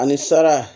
Ani sara